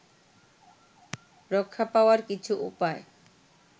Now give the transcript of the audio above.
রক্ষা পাওয়ার কিছু উপায়